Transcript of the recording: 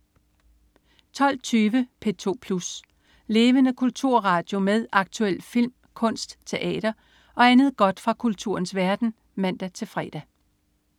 12.20 P2 Plus. Levende kulturradio med aktuel film, kunst, teater og andet godt fra kulturens verden (man-fre)